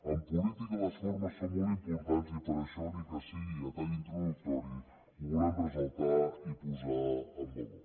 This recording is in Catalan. en política les formes són molt importants i per això ni que sigui a tall introductori ho volem ressaltar i posar en valor